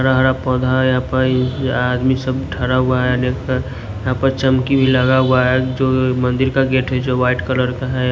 हरा हरा पौधा है यहां पर ई आदमी सब ठहरा हुआ है यहां पर चमकी भी लगा हुआ है जो मंदिर का गेट है जो वाइट कलर का है।